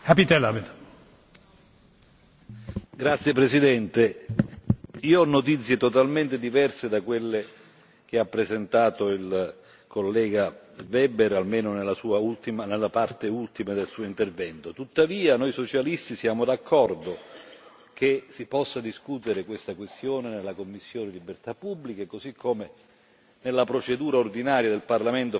Signor Presidente, onorevoli colleghi, io ho notizie totalmente diverse da quelle che ha presentato il collega Weber, almeno nella parte ultima del suo intervento. Tuttavia, noi socialisti siamo d'accordo che si possa discutere questa questione nella commissione libertà pubbliche, così come nella procedura ordinaria del Parlamento, facciamo e abbiamo fatto in altri casi.